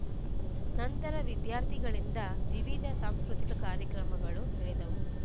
ನಂತರ ವಿದ್ಯಾರ್ಥಿಗಳಿಂದ ವಿವಿಧ ಸಾಂಸ್ಕೃತಿಕ ಕಾರ್ಯಕ್ರಮಗಳು ನಡೆದವು